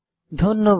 ধন্যবাদ